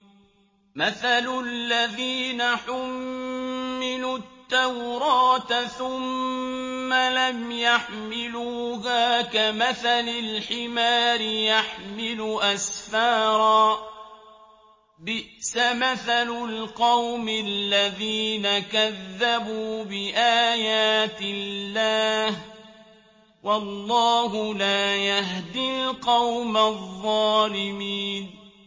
مَثَلُ الَّذِينَ حُمِّلُوا التَّوْرَاةَ ثُمَّ لَمْ يَحْمِلُوهَا كَمَثَلِ الْحِمَارِ يَحْمِلُ أَسْفَارًا ۚ بِئْسَ مَثَلُ الْقَوْمِ الَّذِينَ كَذَّبُوا بِآيَاتِ اللَّهِ ۚ وَاللَّهُ لَا يَهْدِي الْقَوْمَ الظَّالِمِينَ